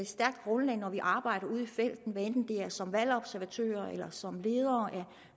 stærkt grundlag når vi arbejder ude i felten hvad enten det er som valgobservatører eller som ledere af